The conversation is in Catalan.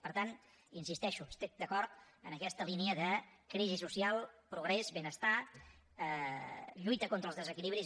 per tant hi insisteixo estic d’acord amb aquesta línia de crisi social progrés benestar lluita contra els desequilibris